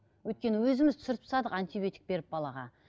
өйткені өзіміз түсіріп тастадық антибиотик беріп балаға